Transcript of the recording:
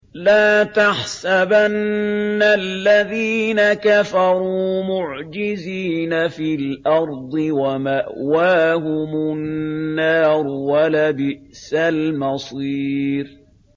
لَا تَحْسَبَنَّ الَّذِينَ كَفَرُوا مُعْجِزِينَ فِي الْأَرْضِ ۚ وَمَأْوَاهُمُ النَّارُ ۖ وَلَبِئْسَ الْمَصِيرُ